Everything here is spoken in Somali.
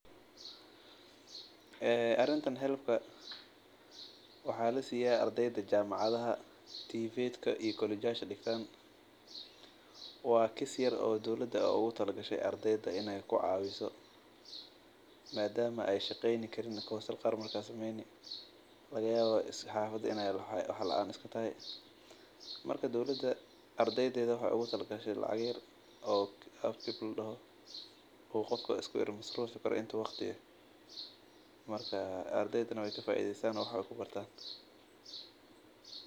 Arintan waxaa lasiiya ardeyda jamacadaha dowlada ayaa oogu tala gashay ardeyda lacagaha yar oo qofka uu iska masruufi karo inta waqti ah ardeydana wax waay ku bartaan.